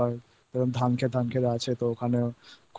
আর আমি গেছিলাম একটুখানি এদিক ওদিক ঘোরাঘুরি করতে গ্রাম গ্রামের দিকে